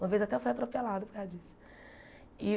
Uma vez até eu fui atropelada por causa disso.